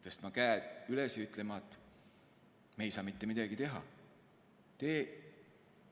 Kas tõstma käed üles ja ütlema, et me ei saa mitte midagi teha?